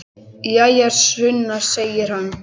Jæja, Sunna, segir hann.